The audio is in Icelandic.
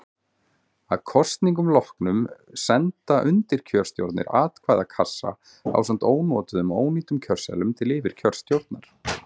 Að kosningum loknum senda undirkjörstjórnir atkvæðakassana ásamt ónotuðum og ónýtum kjörseðlum til yfirkjörstjórnar.